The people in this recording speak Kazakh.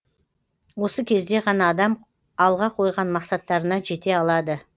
осы кезде ғана адам алға қойған мақсаттарына жете алады